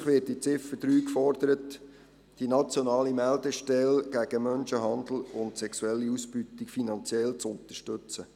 Schliesslich wird mit der Ziffer 3 gefordert, die nationale Meldestelle gegen Menschenhandel und sexuelle Ausbeutung finanziell zu unterstützen.